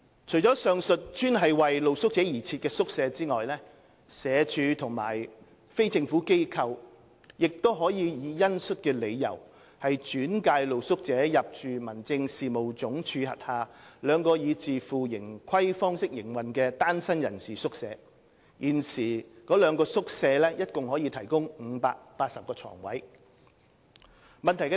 除了上述專為露宿者而設的宿舍外，社署或非政府機構亦可以恩恤理由轉介露宿者入住民政事務總署轄下兩個以自負盈虧方式營運的單身人士宿舍，現時該兩個宿舍共可提供580個床位。